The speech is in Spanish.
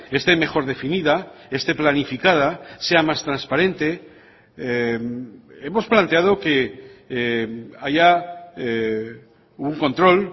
este mejor definida este planificada sea más transparente hemos planteado que haya un control